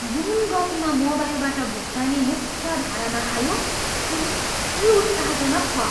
जुन गतिमा मोबाइलबाट भुक्तानी मुख्यधारामा आयो त्यो निकै उत्साहजनक छ।